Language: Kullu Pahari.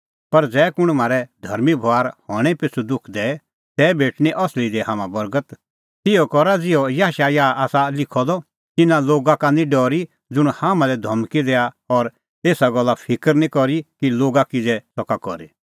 पर ज़ै कुंण म्हारै धर्मीं बभार हणैं पिछ़ू दुख दैए तै भेटणीं असली दी हाम्हां बर्गत तिहअ करा ज़िहअ याशायाह आसा लिखअ द तिन्नां लोगा का निं डरी ज़ुंण हाम्हां लै धमकी दैआ और एसा गल्ले फिकर निं करी कि लोगा किज़ै सका करी